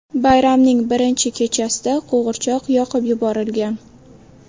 Bayramning birinchi kechasida qo‘g‘irchoq yoqib yuborilgan.